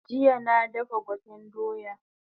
Jiya na dafa gwaten doya